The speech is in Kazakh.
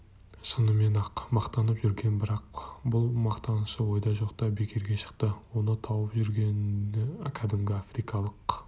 шынымен-ақ мақтанып жүрген бірақ бұл мақтанышы ойда жоқта бекерге шықты оның тауып жүргені кәдімгі африкалық